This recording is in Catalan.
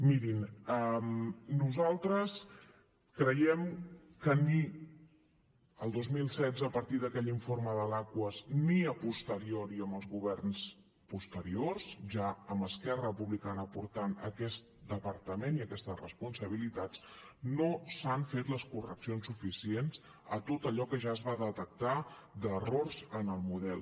mirin nosaltres creiem que ni el dos mil setze a partir d’aquell informe de l’aquas ni a posteriori amb els governs posteriors ja amb esquerra republicana portant aquest departament i aquestes responsabilitats no s’han fet les correccions suficients a tot allò que ja es va detectar d’errors en el model